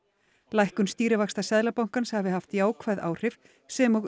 lækkun stýrivaxta Seðlabankans hafi haft jákvæð áhrif sem og